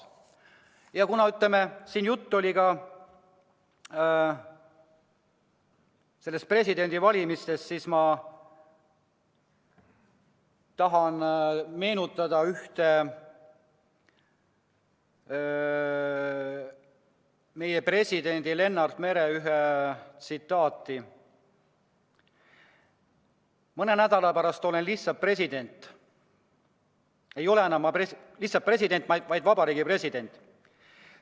Ja kuna siin oli juttu ka presidendi valimisest, siis ma tahan meenutada ühte Lennart Meri tsitaati: "Mõne nädala pärast olen lihtsalt president, mitte Vabariigi President.